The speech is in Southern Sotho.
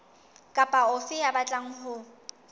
kapa ofe ya batlang ho